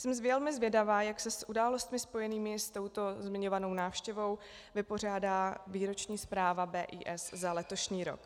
Jsem velmi zvědavá, jak se s událostmi spojenými s touto zmiňovanou návštěvou vypořádá výroční zpráva BIS za letošní rok.